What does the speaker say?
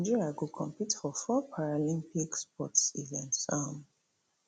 nigeria go compete for four paralympic sports events um